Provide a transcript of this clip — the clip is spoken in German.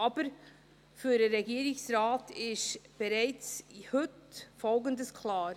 Aber für den Regierungsrat ist heute bereits Folgendes klar: